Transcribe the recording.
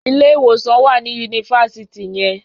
Ilé-ìwòsàn wà ní yunifásitì yẹn.